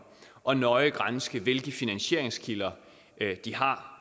og nøje granske hvilke finansieringskilder de har